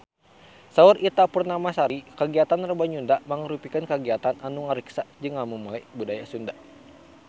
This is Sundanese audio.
Saur Ita Purnamasari kagiatan Rebo Nyunda mangrupikeun kagiatan anu ngariksa jeung ngamumule budaya Sunda